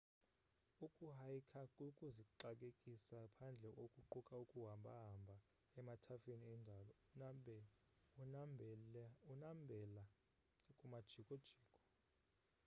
ukuhaykha kukuzixakekisa phandle okuquka ukuhambahamba emathafeni endalo unambela kumajikojiko